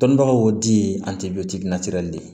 Dɔnnibagaw y'o di an te de